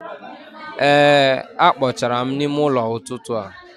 Ee a kpochara m ime ụlọ n'ụtụtụ a.